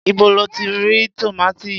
Íbo lo ti rí tòmátì yìí?